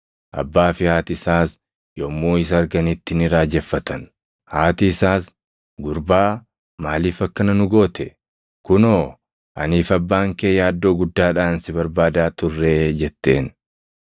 Abbaa fi haati isaas yommuu isa arganitti ni raajeffatan. Haati isaas, “Gurbaa, maaliif akkana nu goote? Kunoo, anii fi abbaan kee yaaddoo guddaadhaan si barbaadaa turree!” jetteen.